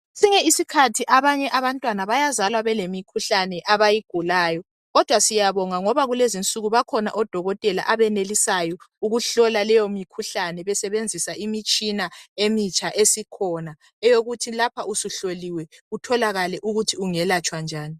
Kwesinye isikhathi abanye abantwana bayazalwa belemikhuhlane abayigulayo kodwa siyabonga ngoba kulezi nsuku bakhona odokotela abenelisayo ukuhlola leyo mikhuhlane besebenzisa imitshina emitsha esikhona eyokuthi lapha usuhloliwe kutholakale ukuthi ungelatshwa njani.